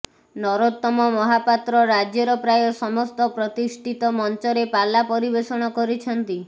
ନରୋତ୍ତମ ମହାପାତ୍ର ରାଜ୍ୟର ପ୍ରାୟ ସମସ୍ତ ପ୍ରତିଷ୍ଠିତ ମଂଚରେ ପାଲା ପରିବେଷଣ କରିଛନ୍ତି